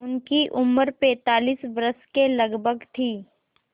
उनकी उम्र पैंतालीस वर्ष के लगभग थी